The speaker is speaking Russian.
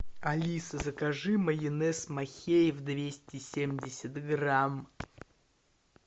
алиса закажи майонез махеев двести семьдесят грамм